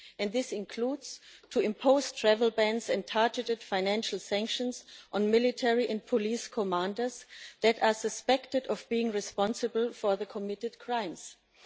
This includes imposing travel bans and targeted financial sanctions on military and police commanders that are suspected of being responsible for the crimes committed.